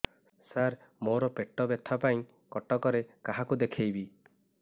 ସାର ମୋ ର ପେଟ ବ୍ୟଥା ପାଇଁ କଟକରେ କାହାକୁ ଦେଖେଇବି